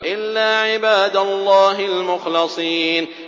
إِلَّا عِبَادَ اللَّهِ الْمُخْلَصِينَ